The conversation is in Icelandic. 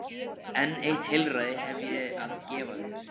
En eitt heilræði hef ég að gefa þér.